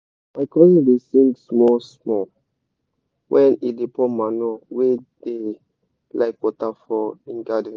my cousin dey sing small small when e dey pour manure wey da like water for him garden